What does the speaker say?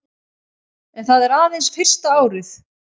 En það er aðeins fyrsta árið